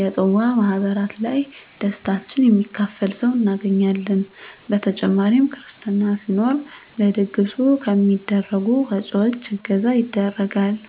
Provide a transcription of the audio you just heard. የፅዋ ማህበራት ላይ ደስታችን የሚካፈል ሰው እናገኛለን በተጨማሪ ክርስትና ሲኖር ለድግሱ ከሚደረጉ ወጭወች እገዛ ይደረጋል።